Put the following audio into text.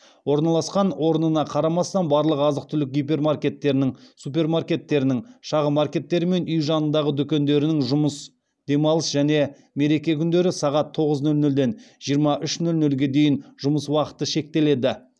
орналасқан орнына қарамастан барлық азық түлік гипермаркеттерінің супермаркеттерінің шағын маркеттері мен үй жанындағы дүкендерінің жұмыс демалыс және мереке күндері сағат нөл тоғыз нөл нөлден жиырма үш нөл нөлге дейін жұмыс уақыты шектеледі